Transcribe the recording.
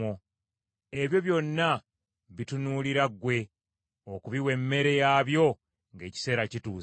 Ebyo byonna bitunuulira ggwe okubiwa emmere yaabyo ng’ekiseera kituuse.